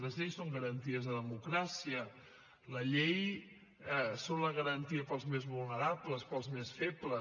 les lleis són garanties de democràcia les lleis són la garantia per als més vulnerables per als més febles